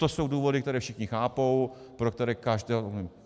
To jsou důvody, které všichni chápou, pro které každého omluví.